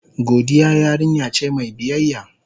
Godiya yarinya ce mai biyayya.